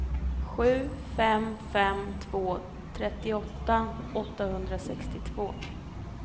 sju fem fem två trettioåtta åttahundrasextiotvå